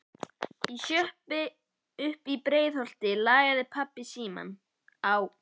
Í sjoppu uppí Breiðholti lagði pabbi símann á.